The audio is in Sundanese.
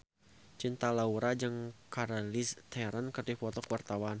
Cinta Laura jeung Charlize Theron keur dipoto ku wartawan